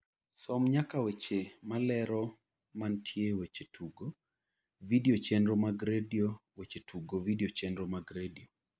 som nyaka weche malero mantie weche tugo vidio chenro mag redio weche tugo vidio chenro mag redio